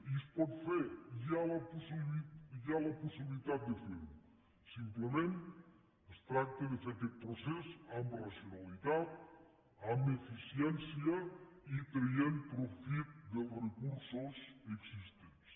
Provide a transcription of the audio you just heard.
i es pot fer hi ha la possibilitat de fer ho simplement es tracta de fer aquest procés amb racionalitat amb eficiència i traient profit dels recursos existents